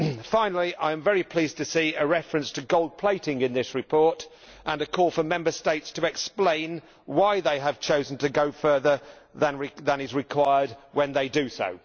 Finally, I am very pleased to see a reference to gold plating in this report and a call for Member States to explain why they have chosen to go further than is required when they do so.